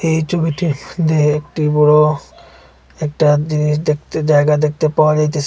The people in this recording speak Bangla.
এই ছবিটি দেহে একটি বড় একটা জিনিস দেখতে জায়গা দেখতে পাওয়া যাইতেসে।